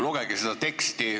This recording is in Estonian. Lugege seda teksti.